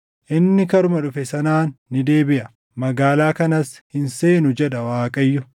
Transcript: Inni karuma dhufe sanaan ni deebiʼa; magaalaa kanas hin seenu, jedha Waaqayyo.